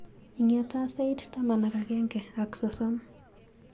Ing'eta sait taman ak agenge ak sosom.